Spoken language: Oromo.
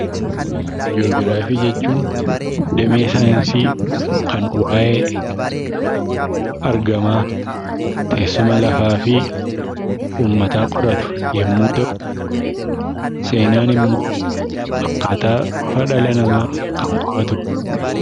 Ji'oogiraafii jechuun damee saayinsii kan waa'ee argamaa, teessuma lafaa fi uummataa qoratu yommuu ta'u, seenaan immoo akkaataa dhufa ilma namaa kan qo'atudha.